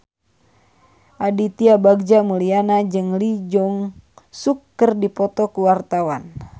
Aditya Bagja Mulyana jeung Lee Jeong Suk keur dipoto ku wartawan